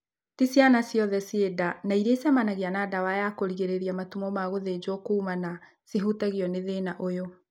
Ti ciana ciothe ciĩ nda na irĩa icemanagia na ndawa ya kũrigĩrĩria matumo ma gũthĩnjwo kumana cihutagio nĩ thĩna ũyũ